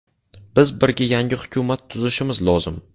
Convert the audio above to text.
Biz birga yangi hukumat tuzishimiz lozim.